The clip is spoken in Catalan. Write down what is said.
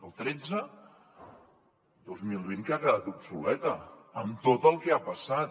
el tretze dos mil vint que ha quedat obsoleta amb tot el que ha passat